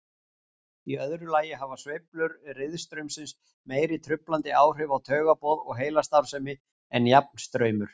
Í öðru lagi hafa sveiflur riðstraumsins meiri truflandi áhrif á taugaboð og heilastarfsemi en jafnstraumur.